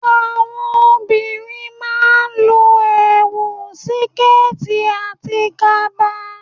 Àwọn obìnrin má a n lo èwù, síkẹ̀ẹ̀tì àti kaba